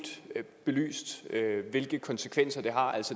belyst hvilke konsekvenser det har